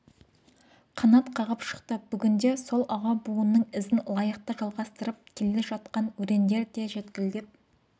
қанат қағып шықты бүгінде сол аға буынның ізін лайықты жалғастырып келе жатқан өрендер де желкілдеп